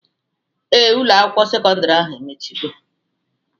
Ee, Ụlọ akwụkwọ sekọndrị ahụ emechigo